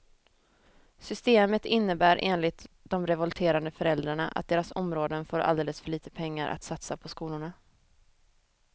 Systemet innebär enligt de revolterande föräldrarna att deras områden får alldeles för lite pengar att satsa på skolorna.